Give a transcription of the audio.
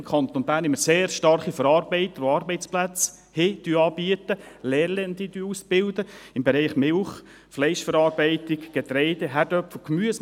Im Kanton Bern haben wir sehr starke Verarbeiter in den Bereichen Milch, Fleischverarbeitung, Getreide, Kartoffeln und Gemüse, die Arbeitsplätze anbieten und Lernende ausbilden.